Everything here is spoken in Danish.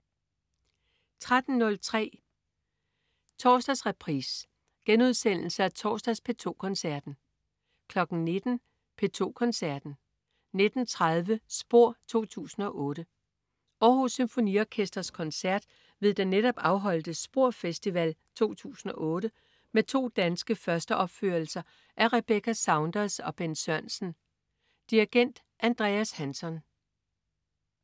13.03 Torsdagsreprise. Genudsendelse af torsdags P2 Koncerten 19.00 P2 Koncerten. 19.30 SPOR 2008. Aarhus Symfoniorkesters koncert ved den netop afholdte SPOR Festival 2008 med to danske førsteopførelser af Rebecca Saunders og Bent Sørensen. Dirigent: Andreas Hanson